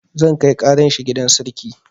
Zan kai ƙaran shi gidan sarki